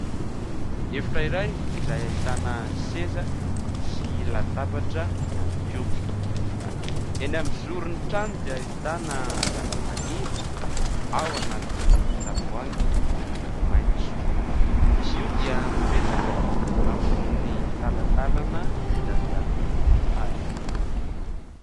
Efitra iray izay ahitana seza sy latabatra ihany koa. Eny amin'ny zorin'ny trano dia ahitana zavamaniry ao anatin'ny tavoahangy miloko maitso. Izy io dia mipetraka ambonin'ny talatalana vita avy amin'ny hazo.